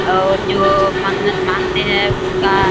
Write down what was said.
और जो मन्नत मांगते है उसका --